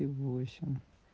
и восемь